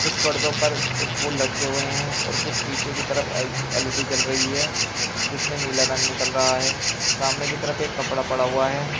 कुछ पर्दों पर कुछ फूल लटके हुए हैं और कुछ पीछे की तरफ एल एल_ई_डी जल रही है जिसमें नीला रंग निकल रहा है सामने की तरफ एक कपड़ा पड़ा हुआ है।